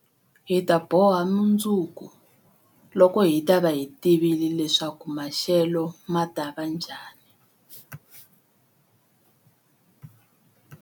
Hi ta boha mundzuku, loko hi ta va hi tivile leswaku maxelo ma ta va njhani.